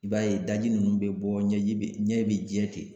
I b'a ye daji nunnu be bɔ ɲɛji be ɲɛ be jɛ ten